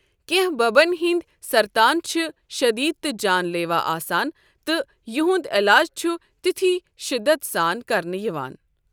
کٮ۪نٛہہ ببن ہنٛدِ سرتان چھِ شٔدیٖد تہٕ جان لیوا آسان، تہٕ یہنٛد علاج چھُ تِتھۍ شٔدت سان كرنہٕ یوان ۔